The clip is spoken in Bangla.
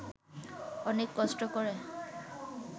অনেক কষ্ট করে